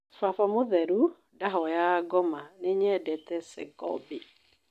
Baba mũtherũ: Ndahoyaga ngoma nĩnyendete Segobia